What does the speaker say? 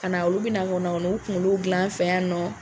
Ka na, olu be na ka na u kunkolo gilan an fɛ yan nɔ.